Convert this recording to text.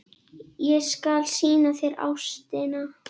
Ég skal sýna þér Ástina.